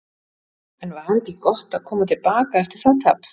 En var ekki gott að koma til baka eftir það tap?